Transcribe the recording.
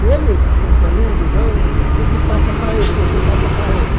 E ele, acompanhando o jogo, esse passa para esse, esse passa para outro.